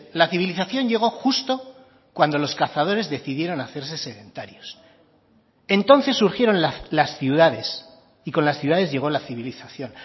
la civilización llegó justo cuando los cazadores decidieron hacerse sedentarios entonces surgieron las ciudades y con las ciudades llegó la civilización